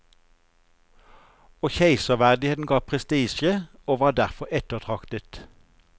Og keiserverdigheten ga prestisje, og var derfor ettertraktet.